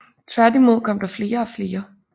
Tværtimod kom der flere og flere